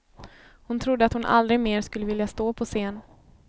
Hon trodde att hon aldrig mer skulle vilja stå på scen.